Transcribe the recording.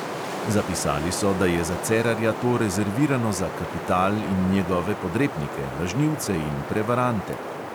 Zapisali so, da je za cerarja to rezervirano za kapital in njegove podrepnike, lažnivce in prevarante.